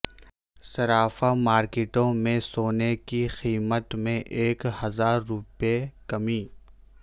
صرافہ مارکیٹوں میں سونے کی قیمت میں ایک ہزارروپے کمی